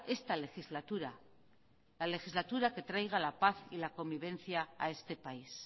esta legislatura la legislatura que traiga la paz y la convivencia a este país